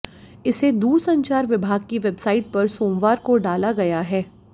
इसे दूरसंचार विभाग की वेबसाइट पर सोमवार को डाला गया है